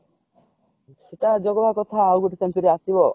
ସେଟା ଜଗିବା କାଠ ଆଉ ଗୋଟେ century ଆସିବ ଆଊ